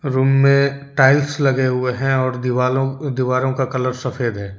Room में tiles लगे हुए हैं और दीवालो दीवारों का कलर सफेद है।